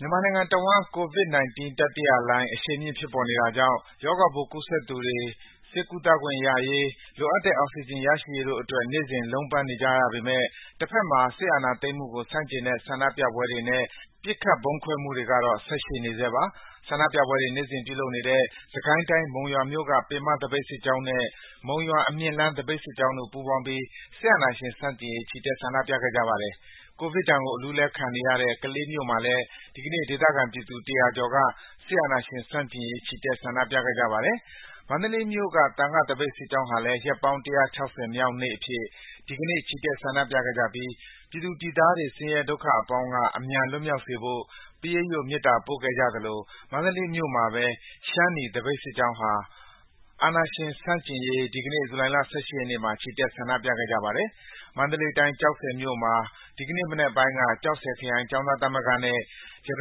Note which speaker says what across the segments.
Speaker 1: မြန်မာနိုင်ငံတဝန်း COVID-19 တတိယလှိုင်း အရှိန်မြင့် ဖြစ်ပေါ်နေတာကြောင့် ရောဂါပိုး ကူးစက်သူတွေ ဆေးကုသခွင့်ရရေး၊ လိုအပ်တဲ့ အောက်စီဂျင် ရရှိရေးတို့အတွက် နေ့စဉ် လုံးပန်းနေကြရပေမယ့် တဖက်မှာ စစ်အာဏာသိမ်းမှုကို ဆန့်ကျင်တဲ့ ဆန္ဒပြပွဲတွေနဲ့ ပစ်ခတ် ဗုံးဖောက်ခွဲမှုတွေကတော့ ဆက်ရှိနေဆဲပါ။ ဆန္ဒြုပပွဲတွေ နေ့စဉ်ပြုလုပ်နေတဲ့ စစ်ကိုင်းတိုင်း၊ မုံရွာမြို့က ပင်မသပိတ်စစ်ကြောင်းနဲ့ မုံရွာ-အမြင့်လမ်း သပိတ်စစ်ကြောင်းတို့ ပူးပေါင်းပြီး စစ်အာဏာရှင်ဆန့်ကျင်ရေး ချီတက် ဆန္ဒပြခဲ့ကြပါတယ်။ ကိုဗစ်ဒဏ်ကို အလူးအလဲ ခံနေရတဲ့ ကလေးမြို့မှာလည်း ဒီကနေ့ ဒေသခံပြည်သူ ၁၀၀ ကျော်က စစ်အာဏာရှင်ဆန့်ကျင်ရေး ချီတက် ဆန္ဒပြခဲ့ကြပါတယ်။ မန္တလေးမြို့က သံဃသပိတ်စစ်ကြောင်းဟာလည်း ရက်ပေါင်း ၁၆၀ မြောက်နေ့အဖြစ် ဒီကနေ့ ချီတက်ဆန္ဒပြခဲ့ကြပြီး ပြည်သူပြည်သားတွေ ဆင်းရဲဒုက္ခအပေါင်းက အမြန်လွတ်မြောက်စေဖို့ ပရိတ်ရွတ် မေတ္တာပို့ခဲ့ကြသလို မန္တလေးမြို့မှာပဲ ရှမ်းနီ သပိတ်စစ်ကြောင်းဟာ စစ်အာဏာရှင်ဆန့်ကျင်ရေး ဒီကနေ့ ဇူလိုင်လ ၁၈ ရက်နေ့မှာ ချီတက် ဆန္ဒပြခဲ့ကြပါတယ်။ မန္တလေးတိုင်း၊ ကျောက်ဆည်မြို့မှာ ဒီကနေ့မနက်ပိုင်းက ကျောက်ဆည်ခရိုင် ကျောင်းသားများသမဂ္ဂနဲ့ ရတ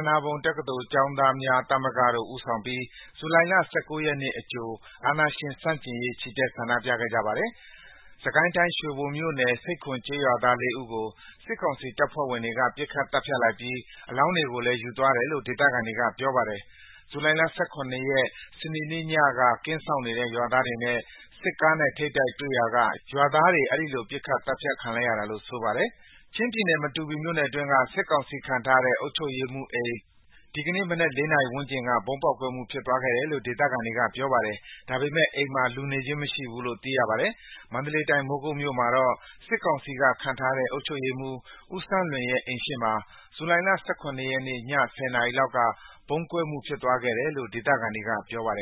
Speaker 1: နာပုံတက္ကသိုလ် ကျောင်းသားများသမဂ္ဂတို့ ဦးဆောင်ပြီး ၁၉ ဇူလိုင် အကြိုအဖြစ် စစ်အာဏာရှင်ဆန့်ကျင်ရေး ချီတက် ဆန္ဒပြခဲ့ကြပါတယ်။ စစ်ကိုင်းတိုင်း၊ ရွှေဘိုမြို့နယ်၊ ဆိပ်ခွန်ရွာသား ၄ ဦးကို စစ်ကောင်စီတပ်ဖွဲ့ဝင်တွေက ပစ်ခတ်သတ်ဖြတ်လိုက်ပြီး အလောင်းတွေကိုလည်း ယူသွားတယ်လို့ ဒေသခံတွေက ပြောပါတယ်။ ဇူလိုင်လ ၁၇ ရက်၊ စနေနေ့ညက ကင်းစောင့်နေတဲ့ ရွာသားတွေနဲ့ စစ်ကားနဲ့ ထိပ်တိုက်တွေ့ရာက ရွာသားတွေ အဲဒီလို ပစ်သတ်ခံလိုက်ရတာလို့ ဆိုပါတယ်။ ချင်းပြည်နယ်၊ မတူပီမြို့နယ်အတွင်းက စစ်ကောင်စီခန့်ထားတဲ့ အုပ်ချုပ်ရေးမှူးအိမ် ဒီကနေ့မနက် ၄ နာရီဝန်းကျင်က ဗုံးပေါက်ကွဲမှု ဖြစ်သွားခဲ့တယ်လို့ ဒေသခံတွေက ပြောပါတယ်။ ဒါပေမယ့် အိမ်မှာ လူနေခြင်းမရှိဘူးလို့ သိရပါတယ်။ မန္တလေးတိုင်း၊ မိုးကုတ်မြို့မှာတော့ စစ်ကောင်စီက ခန့်ထားတဲ့ အုပ်ချုပ်ရေးမှူး ဦးစန်းလွင်ရဲ့ အိမ်ရှေ့မှာ ဇူလိုင်လ ၁၇ ရက်နေ့ည ၁၀ နာရီလောက်က ဗုံးပေါက်ကွဲမှု ဖြစ်ပွားခဲ့တယ်လို့ ဒေသခံတွေက ပြောပါတယ်